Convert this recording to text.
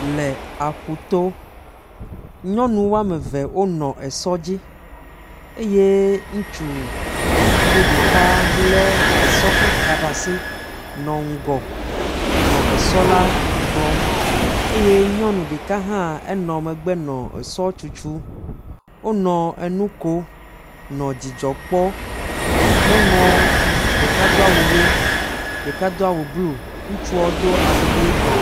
Le aƒuto. Nyɔnu woame ve wonɔ esɔ dzi eye ŋutsuvi ɖeka lé esɔ ƒe ka ɖe asi nɔ ŋgɔ, nɔ esɔ la kplɔ eye nyɔnu ɖeka hã nɔ megbe enɔ megbe nɔ esɔ tutu wonɔ enu ko nɔ dzidzɔ kpɔ. Nyɔnuɔ ɖeka do awu ʋe, ɖeka do awu blu, ŋutsuɔ do awu ʋe.